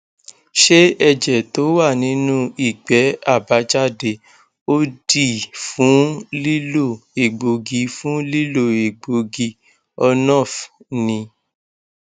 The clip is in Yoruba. ṣé ẹjẹ tó wà nínú igbe abajade odi fun lilo egbogi fun lilo egbogi ornof ni